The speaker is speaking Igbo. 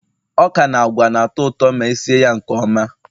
ọka na agwa na-atọ ụtọ ma esi ya nke ọma